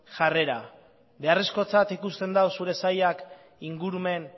jarrera beharrezkotzat ikusten du zure sailak ingurumen